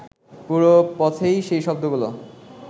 পুরো পথেই সেই শব্দগুলো